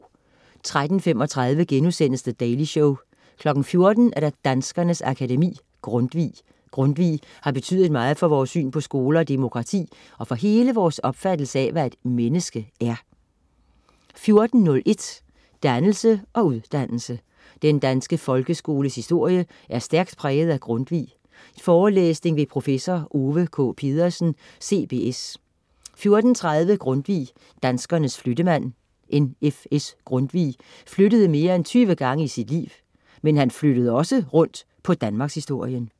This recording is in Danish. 13.35 The Daily Show* 14.00 Danskernes Akademi. Grundtvig. Grundtvig har betydet meget for vores syn på skole og demokrati og for hele vores opfattelse af, hvad et menneske er 14.01 Dannelse og uddannelse. Den danske folkeskoles historie er stærkt præget af Grundtvig. Forelæsning ved prof. Ove K. Pedersen, CBS 14.30 Grundtvig, danskernes flyttemand. N.F.S.Grundtvig flyttede mere end 20 gange i sit liv. Men han flyttede også rundt på Danmarkshistorien